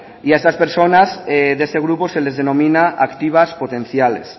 y a estas personas de este grupo se les denomina activas potenciales